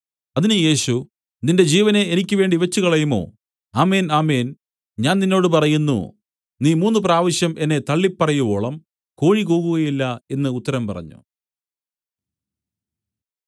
അതിന് യേശു നിന്റെ ജീവനെ എനിക്കുവേണ്ടി വെച്ചുകളയുമോ ആമേൻ ആമേൻ ഞാൻ നിന്നോട് പറയുന്നു നീ മൂന്നുപ്രാവശ്യം എന്നെ തള്ളിപ്പറയുവോളം കോഴി കൂകുകയില്ല എന്നു ഉത്തരം പറഞ്ഞു